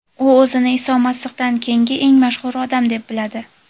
U o‘zini Iso Masihdan keyingi eng mashhur odam deb biladi.